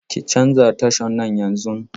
Ki canza tashan nan yanzun!